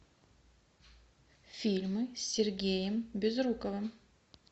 фильмы с сергеем безруковым